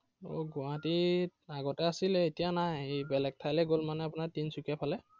আহ গুৱাহাটীত আগতে আছিলে এতিয়া নাই। এৰ বেলেগ ঠাইলৈ গল মানে আপোনাৰ তিনিচুকীয়া ফালে।